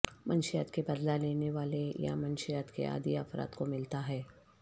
منشیات کے بدلہ لینے والے یا منشیات کے عادی افراد کو ملتا ہے